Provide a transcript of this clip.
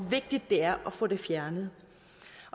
vigtigt det er at få det fjernet